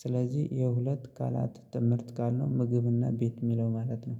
ስለዚህ የሁለት ቃላት ትምህርት ቃል ነው ምግብና ቤት የሚለው ማለት ነው።